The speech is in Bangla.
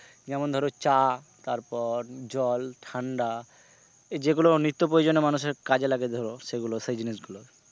যেমন ধরো চা তারপর জল ঠাণ্ডা যেগুলো নিত্তপ্রয়োজনে মানুষের কাজে লাগে ধরো সেগুলো সেই জিনিসগুলো,